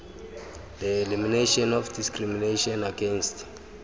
the elimination of discrimination against